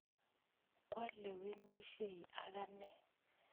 Kwalewenisye akane